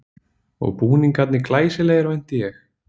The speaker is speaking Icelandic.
Og búningarnir glæsilegir vænti ég?